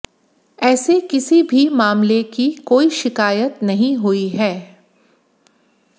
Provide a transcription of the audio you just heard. ऐसे किसी भी मामले की कोई शिकायत नहीं हुई है